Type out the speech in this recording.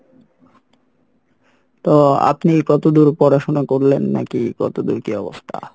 তো আপনি কতদূর পড়াশোনা করলেন নাকি কত দুর কী অবস্থা?